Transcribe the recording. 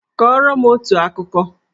Kọrọ m otu akụkọ!